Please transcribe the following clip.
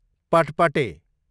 पटपटे